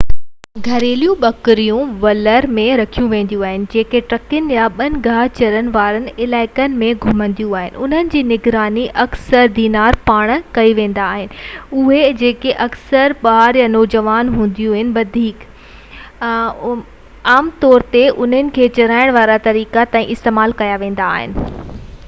گهريلو ٻڪريون عام طور تي ولر ۾ رکيون وينديون آهن جيڪي ٽڪرين يا ٻين گاهه چرڻ وارن علائقن ۾ گهمنديون آهن انهن جي نگراني اڪثر ڌنارن پاران ڪئي ويندي آهي جيڪي اڪثر ٻار يا نوجوان هوندا آهن وڌيڪ عام طور تي انهن کي ريڍار سڏيو ويندو آهي اهي چرائڻ وارا طريقا تائين استعمال ڪيا ويا آهن